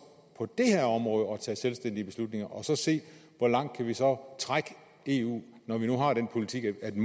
på det her område at tage selvstændige beslutninger og så se hvor langt vi så trække eu når vi nu har den politik at vi